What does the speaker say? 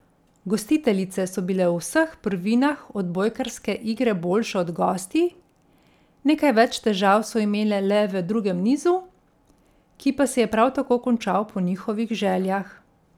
Gostiteljice so bile v vseh prvinah odbojkarske igre boljše od gostij, nekaj več težav so imele le v drugem nizu, ki pa se je prav tako končal po njihovih željah.